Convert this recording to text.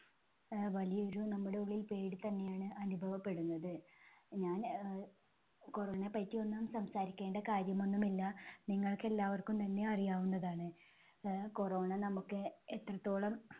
ആഹ് വലിയൊരു നമ്മുടെ ഉള്ളിൽ പേടി തന്നെ ആണ് അനുഭവപ്പെടുന്നത്. ഞാൻ അഹ് corona യെ പറ്റി ഒന്നും സംസാരിക്കേണ്ട കാര്യം ഒന്നും ഇല്ല നിങ്ങൾക്ക് എല്ലാവർക്കും തന്നെ അറിയാവുന്നതാണ് അഹ് corona നമുക്ക് എത്രത്തോളം